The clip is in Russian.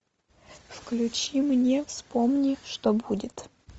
включи мне вспомни что будет